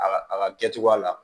A ka a ka kɛcogoya la